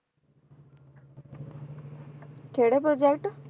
ਕਿਹੜੇ project